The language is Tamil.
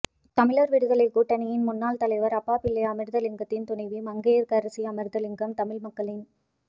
தமிழர் விடுதலை கூட்டணியின் முன்னாள் தலைவர் அப்பாப்பிள்ளை அமிர்தலிங்கத்தின் துணைவி மங்கையர்க்கரசி அமிர்தலிங்கம் தமிழ் மக்களின்